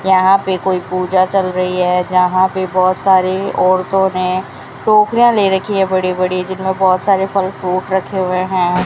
यहां पे कोई पूजा चल रही है जहां पे बहोत सारी औरतों ने टोकरियां ले रखी है बड़ी बड़ी जिनमें बहुत सारे फल फ्रूट रखे हुए हैं।